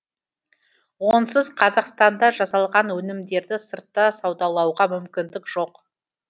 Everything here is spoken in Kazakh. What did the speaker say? онсыз қазақстанда жасалған өнімдерді сыртта саудалауға мүмкіндік жоқ